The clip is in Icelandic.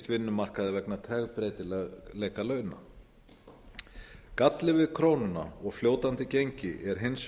vinnumarkaði vegna tregbreytileika launa galli við krónuna og fljótandi gengi er hins